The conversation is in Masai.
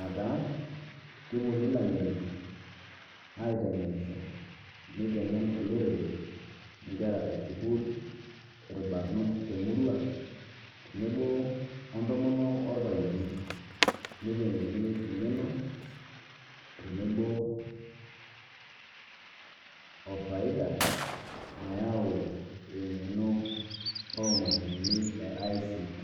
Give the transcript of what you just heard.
ataa kewueni laing'ueni aiteng'enisho neiteng'en oloorere, nkeraa e sukuul, olbaarunoot te murrua, teneboo o ntomoonok o lpayieni. Neiteng'eni eng'enoo teneboo ofaida naiyau eng'eno omashinini e ICT.